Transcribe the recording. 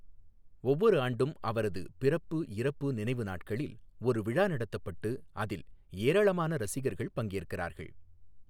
ஒவ்வொரு ஆண்டும் அவரது பிறப்பு, இறப்பு நினைவு நாட்களில் ஒரு விழா நடத்தப்பட்டு அதில் ஏராளமான ரசிகர்கள் பங்கேற்கிறார்கள்.